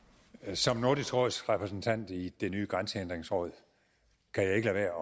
som nordisk råds repræsentant i det nye grænsehindringsråd kan jeg ikke